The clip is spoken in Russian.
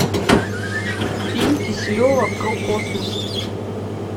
фильм киселева про космос